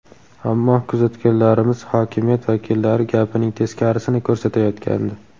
Ammo kuzatganlarimiz hokimiyat vakillari gapining teskarisini ko‘rsatayotgandi.